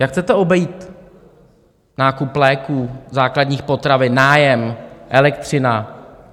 Jak chcete obejít nákup léků, základních potravin, nájem, elektřinu?